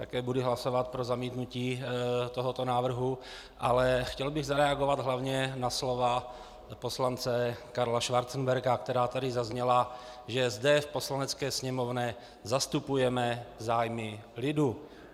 Také budu hlasovat pro zamítnutí tohoto návrhu, ale chtěl bych zareagovat hlavně na slova poslance Karla Schwarzenberga, která tady zazněla, že zde v Poslanecké sněmovně zastupujeme zájmy lidu.